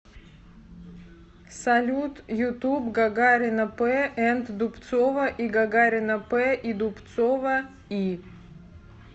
салют ютуб гагарина п энд дубцова и гагарина п и дубцова и